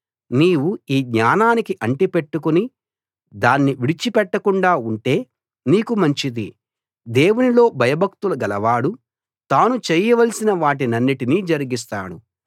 నీవు ఈ జ్ఞానానికి అంటిపెట్టుకుని దాన్ని విడిచిపెట్టకుండా ఉంటే నీకు మంచిది దేవునిలో భయభక్తులు గలవాడు తాను చేయవలసిన వాటినన్నిటినీ జరిగిస్తాడు